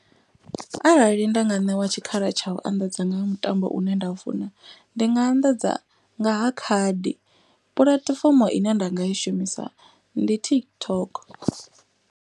Arali nda nga ṋewa tshikhala tsha u anḓadza nga mutambo une nda u funa. Ndi nga anḓadza nga ha khadi puḽatifomo ine nda nga i shumisa ndi TikTok.